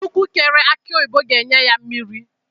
Chukwu kere akụ oyibo ga-enye ya mmiri.